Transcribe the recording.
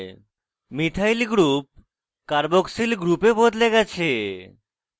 methyl methyl group carboxyl carboxyl গ্রুপে বদলে গেছে